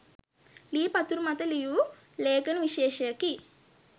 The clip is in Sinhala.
ලී පතුරු මත ලියූ ලේඛන විශේෂයකි.